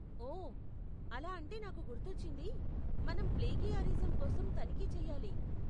ఓ! అలా అంటే నాకు గుర్తొచ్చింది, మనం ప్లేగియారిజం కోసం తనిఖీ చెయ్యాలి.